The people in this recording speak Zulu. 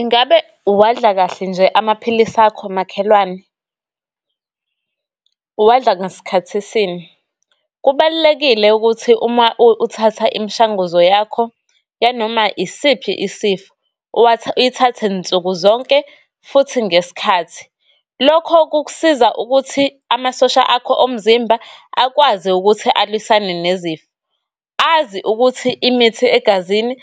Ingabe wadla kahle nje amaphilisi akho makhelwane? Uwadla ngasikhathi sini? Kubalulekile ukuthi uma uthatha imshanguzo yakho, yanoma isiphi isifo uyithathe nsuku zonke, futhi ngesikhathi. Lokho kukusiza ukuthi amasosha akho omzimba akwazi ukuthi alwisane nezifo, azi ukuthi imithi egazini